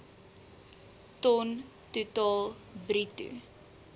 ton totaal bruto